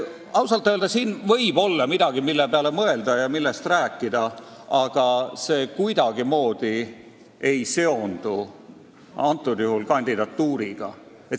Ausalt öelda siin võib olla midagi, mille peale mõelda ja millest rääkida, aga see ei seondu praegusel juhul kuidagimoodi selle kandidatuuriga.